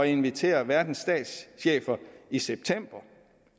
invitere verdens statschefer i september